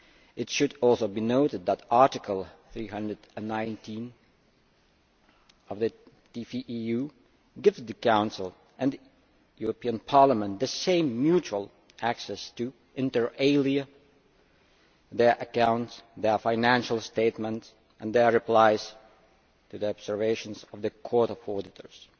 It should also be noted that Article 319 of the TFEU gives the Council and Parliament the same mutual access to, inter alia, their accounts, their financial statements and their replies to the observations of the Court of Auditors.